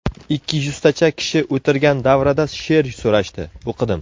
Ikki yuztacha kishi o‘tirgan davrada she’r so‘rashdi, o‘qidim.